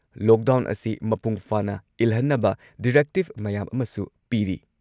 Lockdown ꯑꯁꯤ ꯃꯄꯨꯡ ꯐꯥꯅ ꯏꯜꯍꯟꯅꯕ ꯗꯤꯔꯦꯛꯇꯤꯕ ꯃꯌꯥꯝ ꯑꯃꯁꯨ ꯄꯤꯔꯤ ꯫